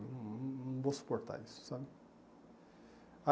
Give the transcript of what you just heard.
Não não vou suportar isso, sabe?